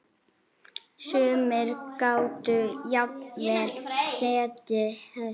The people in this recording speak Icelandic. Sumir gátu jafnvel setið hest.